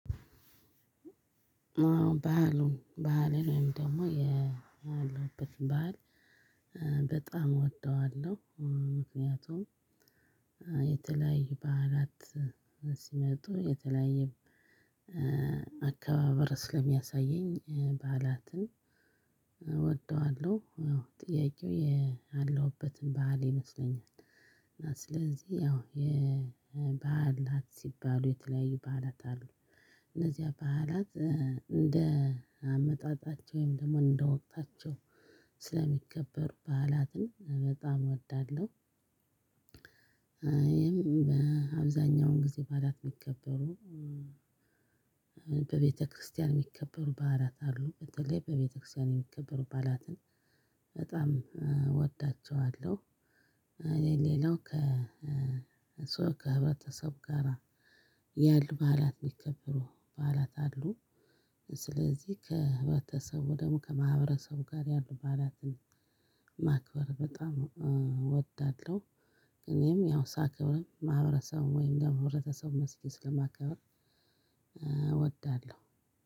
ባህሉ ባህልን ወይም ደግሞ የአለሁበት ባህል በጣም እወደዋለሁ። ምክንያቱም በዓላት ሲመጡ የተለያየ አካባበር ስለሚያሳየኝ በዓላትን እወደዋለሁ። ያው ጥያቄው ያለሁበትን ባህል ይመስለኛል። እና ስለዚህ ያው የበዓላት ሲባሉ የተለያዩ በዓላት አሉ። እነዚህ በዓላት እንደ አመጣጣቸው ወይም ደግሞ እንደ ወቅታቸው ስለሚከበሩ በዓላትን በጣም እወዳለሁ። ይሄም በአብዛኛው ጊዜ በዓላት የሚከበሩ በቤተክርስቲያን የሚከበሩ በዓላት አሉ በተለይ በቤተክርስቲያን የሚከበሩ በዓላትን በጣም እወዳቸዋለሁ። ሌላው ከ ከሰው ከህብረተሰብ ጋራ ያሉ በዓላት ሚከበሩ በዓላት አሉ። ስለዚህ ከህብረተሰቡ ደግሞ ከማህበረሰቡ ጋር ያሉ በዓላትን ማክበር በጣም እወዳለው ነው። እኔም ያው ሳክብርም ማህበረሰቡን ወይም ደግሞ ህብረተሰብ መስጊድ ስለማከብር እወዳለሁ።